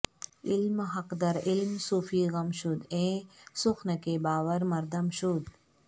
علم حق در علم صوفی گم شود ایں سخن کے باور مردم شود